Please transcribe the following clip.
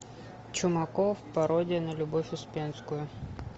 чумаков пародия на любовь успенскую